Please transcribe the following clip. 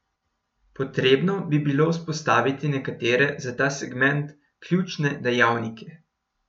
Potrebno bi bilo vzpostaviti nekatere za ta segment ključne dejavnike.